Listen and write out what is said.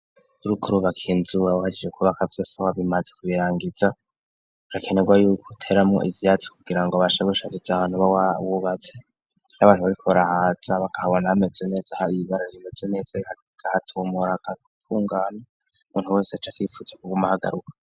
Urukurubak inzuwa buhajije kubakavyo so ha bimaze kubirangiza rakenerwa yuko uteramwo ivyati kugira ngo bashegushariza abantu b'awa wubaze n'abantu babikorahaza bakabona bameze neza har ibibarara bimeze neza gahatumora agatungana muntu wese aco akifuza kugoma hagaruka.